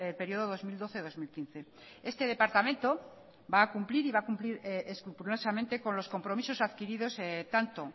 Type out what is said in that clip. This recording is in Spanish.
periodo dos mil doce dos mil quince este departamento va a cumplir y va a cumplir escrupulosamente con los compromisos adquiridos tanto